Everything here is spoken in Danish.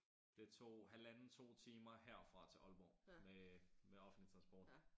Det tog halvanden 2 timer herfra og til Aalborg med med offentlig transport